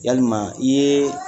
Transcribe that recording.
Yalima i ye